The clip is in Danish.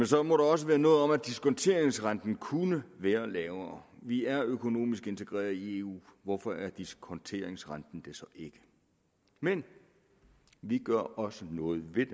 så må der også være noget om at diskonteringsrenten kunne være lavere vi er økonomisk integreret i eu hvorfor er diskonteringsrenten det så ikke men vi gør også noget ved